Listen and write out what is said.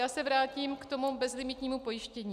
Já se vrátím k tomu bezlimitnímu pojištění.